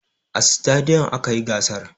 A stadiyom aka yi gasar.